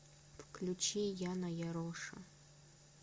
включи яна яроша